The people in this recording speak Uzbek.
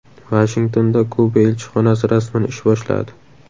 Vashingtonda Kuba elchixonasi rasman ish boshladi.